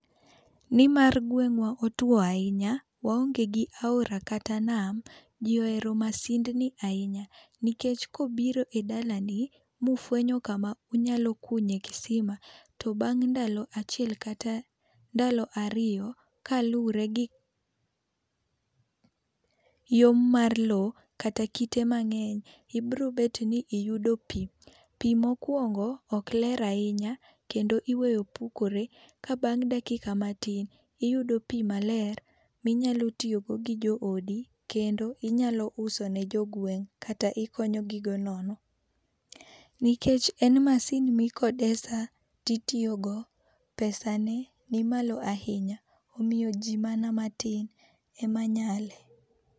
Ni mar gweng'wa otuo ahinya, waonge gi aora kata nam, ji ohero masindni ahinya nikech ka obiro e dalani ma ofwenyo ka ma unyalo kunye kisima to bang' ndalo achiel kata bang' ndalo ariyo kalure gi yom mar lo kata kite mang'eny ibiro bet ni iyudo pi .Pi ma okuongo ok ler ahinya kendo iweyo pukore ka bang' dakika matin iyudo pi maler mi inyalo tiyo go gi jo odi kendo inyalo use ne jo gweng' kata ikonyo gi go nono. Nikech en masin mi ikodesa to itiyo go, pesa ne ni malo ahinya omiyo ji mana matin ema nyale.